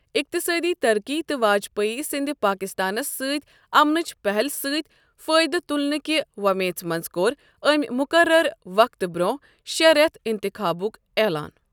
اِقتِصٲدی ترقی تہٕ واجپاے سٕنٛدۍ پاکِستانس سۭتۍ امنٕچ پَہل سۭتۍ فٲیدٕ تُلنہٕ کہِ وۄمیژ منٛز کوٚر أمۍ مُقرر وقتہٕ برٛونٛہہ شےٚ رٮ۪تھ اِنتِخابُک اعلان۔